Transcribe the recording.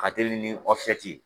ka teli ni ye